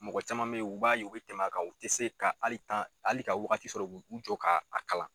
Mɔgɔ caman be ye u b'a ye u bɛ tɛmɛ kan u te se ka ali tan ali ka wagati sɔrɔ k' u u jɔ ka a kalan